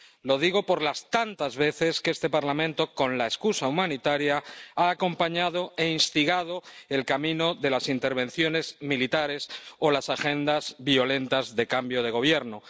Lo digo por las tantas veces que este Parlamento, con la excusa humanitaria, ha acompañado e instigado el camino de las intervenciones militares o las agendas violentas de cambio de gobierno.